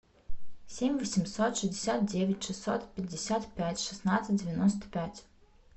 семь восемьсот шестьдесят девять шестьсот пятьдесят пять шестнадцать девяносто пять